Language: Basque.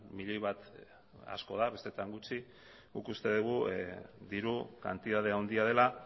milioi bat asko da bestetan gutxi guk uste dugu diru kantitate handia dela